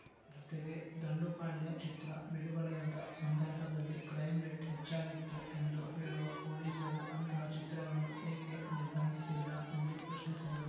ಜೊತೆಗೆ ದಂಡುಪಾಳ್ಯ ಚಿತ್ರ ಬಿಡುಗಡೆಯಾದ ಸಂದರ್ಭದಲ್ಲಿ ಕ್ರೈಂ ರೇಟ್‌ ಹೆಚ್ಚಾಗಿತ್ತು ಎಂದು ಹೇಳುವ ಪೊಲೀಸರು ಅಂತಹ ಚಿತ್ರವನ್ನು ಏಕೆ ನಿರ್ಬಂಧಿಸಿಲ್ಲ ಎಂದು ಪ್ರಶ್ನಿಸಿದರು